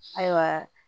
Ayiwa